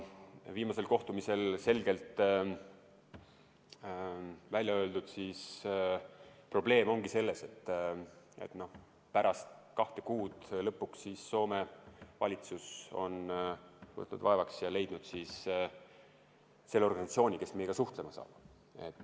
Viimasel kohtumisel selgelt välja öeldud probleem ongi selles, et alles pärast kahte kuud on lõpuks Soome valitsus võtnud vaevaks ja leidnud selle organisatsiooni, kes meiega suhtlema hakkab.